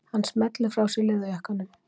Hann smellir frá sér leðurjakkanum.